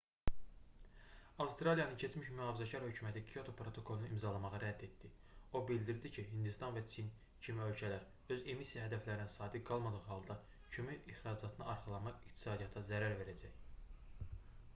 avstraliyanın keçmiş mühafizəkar hökuməti kyoto protokolunu imzalamağı rədd etdi o bildirdi ki hindistan və çin kimi ölkələr öz emissiya hədəflərinə sadiq qalmadığı halda kömür ixracatına arxalanmaq iqtisadiyyata zərər verəcək